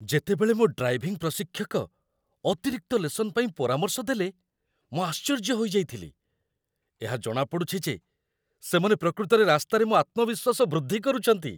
ଯେତେବେଳେ ମୋ ଡ୍ରାଇଭିଂ ପ୍ରଶିକ୍ଷକ ଅତିରିକ୍ତ ଲେସନ୍ ପାଇଁ ପରାମର୍ଶ ଦେଲେ, ମୁଁ ଆଶ୍ଚର୍ଯ୍ୟ ହୋଇଯାଇଥିଲି। ଏହା ଜଣାପଡ଼ୁଛି ଯେ ସେମାନେ ପ୍ରକୃତରେ ରାସ୍ତାରେ ମୋ ଆତ୍ମବିଶ୍ୱାସ ବୃଦ୍ଧି କରୁଛନ୍ତି